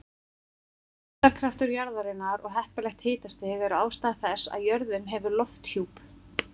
Þyngdarkraftur jarðarinnar og heppilegt hitastig eru ástæður þess að jörðin hefur lofthjúp.